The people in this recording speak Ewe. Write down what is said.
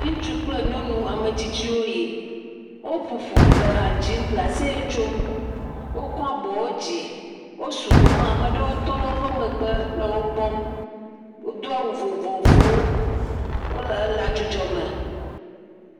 Ŋutsu kple nyɔnu ame tsitsiwo yi. Woƒoƒu le ha dzim le aseye tsom. Wokɔ abɔwo dzi. Wo sugbɔ hã ame aɖewo tɔ ɖe woƒe megbe le wo kpɔm. wodo awu vovovowo. Wo le ela ddzudzɔ me.